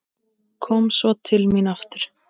Kom svo til mín aftur.